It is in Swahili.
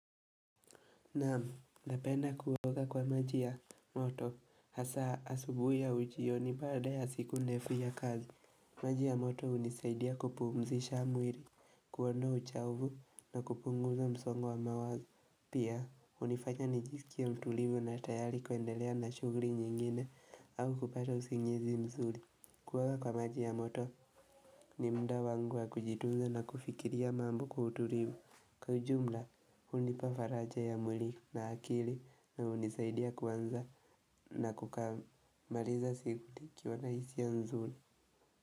Naam, napenda kuoga kwa maji ya moto, hasa asubuhi au jioni baada ya siku ndefu ya kazi. Maji ya moto hunisaidia kupumzisha mwiri, kuondoa uchovu na kupunguza msongo wa mawazo. Pia, hunifanya nijisikie mtulivu na tayari kuendelea na shugri nyingine au kupata usingizi mzuri. Kuoga kwa maji ya moto ni mda wangu wa kujitunza na kufikiria mambo kwa utulivu. Kwa ujumla hunipa faraja ya mwili na akili na hunisaidia kuanza na kukamaliza siku nikiwa na hisia nzuli.